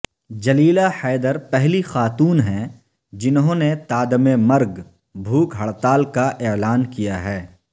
جلیلہ حیدر پہلی خاتون ہیں جنھوں نے تادم مرگ بھوک ہڑتال کا اعلان کیا ہے